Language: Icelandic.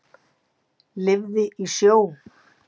Lifði í sjó.